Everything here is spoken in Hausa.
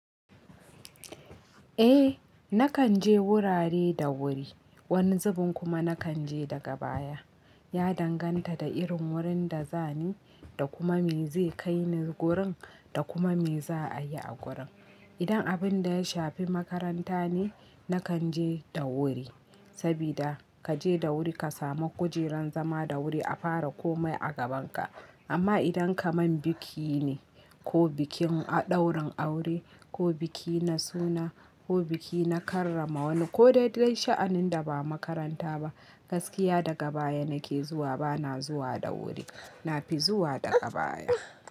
Eh nakan je wurare da wuri, wani zubin kuma nakan je daga baya. Ya danganta da irin wurin da za ni da kuma me zai kai ni gurin da kuma me za a yi a gurin. Idan abun da ya shafi makaranta ne, nakan je da wuri, saboda kaje da wuri ka samu kujerar zama da wuri a fara ko mai a gabanka. Amma idan kaman biki ne ko bikin ɗaurin aure ko biki na suna ko biki na karrama wani ko daidai sha'anin da ba makaranta ba, gaskiya daga baya nake zuwa bana zuwa da wuri, na fi zuwa daga baya.